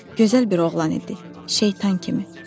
Gözəl bir oğlan idi, şeytan kimi.